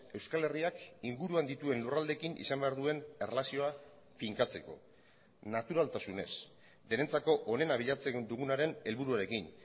euskal herriak inguruan dituen lurraldeekin izan behar duen erlazioa finkatzeko naturaltasunez denentzako onena bilatzen dugunaren helburuarekin